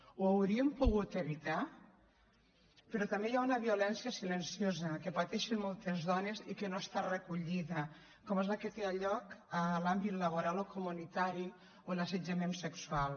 ho hauríem pogut evitar però també hi ha una violència silenciosa que pateixen moltes dones i que no està recollida com és la que té lloc a l’àmbit laboral o comunitari o l’assetjament sexual